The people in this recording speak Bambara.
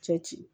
Cɛ ci